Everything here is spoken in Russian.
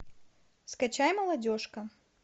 скачай молодежка